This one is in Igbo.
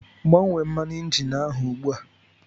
Gbanwee mmanụ injin ahụ ugbu a!